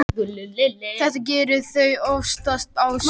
Þetta gera þau oftast á sundi.